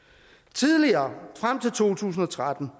tidligere frem til to tusind og tretten